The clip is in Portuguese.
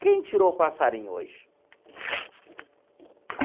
Quem tirou o passarinho hoje?